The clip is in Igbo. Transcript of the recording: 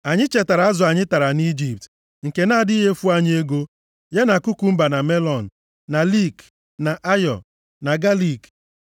Anyị chetara azụ anyị tara nʼIjipt, nke na-adịghị efu anyị ego, ya na kukumba, na melọn, + 11:5 Nke a bụ wọta melọn. na liik, na ayo + 11:5 Maọbụ, yabasị na galiik.